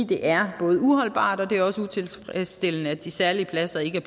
det er både uholdbart og også utilfredsstillende at de særlige pladser ikke er